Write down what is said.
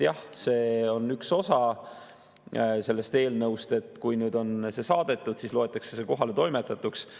Jah, see on üks osa sellest eelnõust, et kui on saadetud, siis loetakse see kohaletoimetatuks.